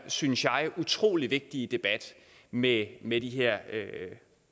synes jeg utrolig vigtige debat med med de her